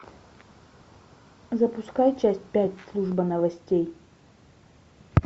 запускай часть пять служба новостей